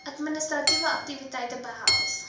administratiewe aktiwiteite behels